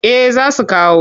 Eh za su kawo.